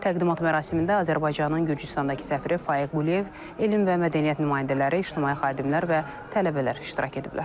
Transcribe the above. Təqdimat mərasimində Azərbaycanın Gürcüstandakı səfiri Faiq Quliyev, elm və mədəniyyət nümayəndələri, ictimai xadimlər və tələbələr iştirak ediblər.